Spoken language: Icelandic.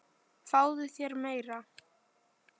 Fáðu þér meira!